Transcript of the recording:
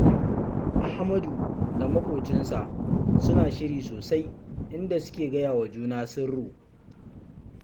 Ahmadu da maƙocinsa suna shiri sosai inda suke gaya wa juna sirru